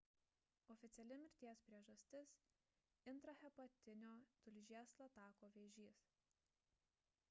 oficiali mirties priežastis – intrahepatinio tulžies latako vėžys